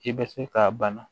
I bɛ se k'a bana